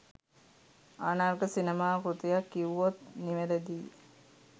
අනර්ඝ සිනමා කෘතියක් කිව්වොත් නිවැරදියි